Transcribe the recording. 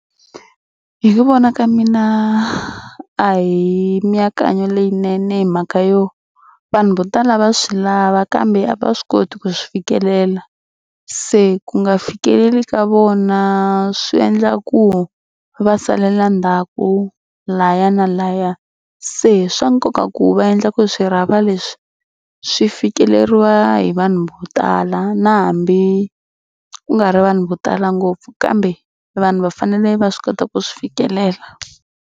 Hi ku vona ka mina a hi mianakanyo leyinene hi mhaka yo vanhu vo tala va swi lava kambe a va swi koti ku swi fikelela. Se ku nga fikeleli ka vona swi endla ku va salela ndzhaku laya na laya. Se swa nkoka ku va endla ku swirhapa leswi swi fikeleriwa hi vanhu vo tala na hambi ku nga ri vanhu vo tala ngopfu kambe vanhu va fanele va swi kota ku swi fikelela.